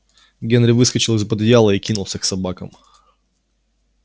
генри выскочил из под одеяла и кинулся к собакам